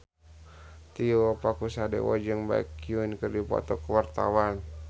Tio Pakusadewo jeung Baekhyun keur dipoto ku wartawan